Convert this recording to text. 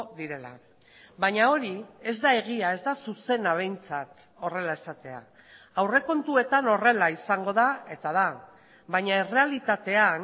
direla baina hori ez da egia ez da zuzena behintzat horrela esatea aurrekontuetan horrela izango da eta da baina errealitatean